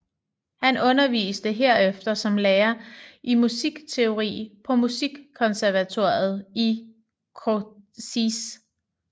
Han underviste herefter som lærer i musikteori på Musikkonservatoriet i Kosice